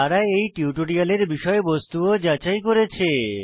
তারা এই টিউটোরিয়ালের বিষয়বস্তু ও যাচাই করেছে